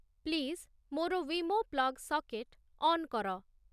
please ମୋର Wemo plug socket on କର